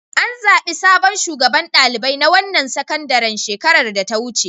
An zaɓi sabon shugaban ɗalibai na wannan sakandaren shekarar da ta wuce.